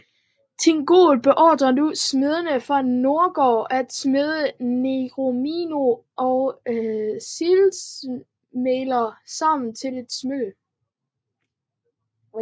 Thingol beordrede nu smedene fra Nogrod at smede Nauglamíren og Silmarillerne sammen til et smykke